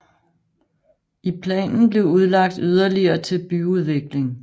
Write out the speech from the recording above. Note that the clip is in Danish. I planen blev udlagt yderligere til byudvikling